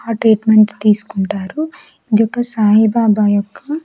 ఆ ట్రీట్మెంట్ తీసుకుంటారు ఇదొక సాయిబాబా యొక్క.